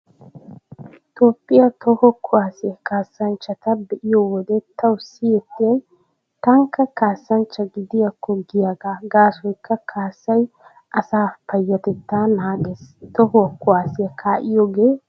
Toophphiyaa toho kuwaasiyaa kaassanchchata be'iyo wode tawu siyettiyay tankka kaassanchcha gidiyaakko giyaagaa gaasoykka kaassay asaa payyatettaa naagees. Tohuwaa kuwaasiya kaa'iyoogee keehippe ufayssees.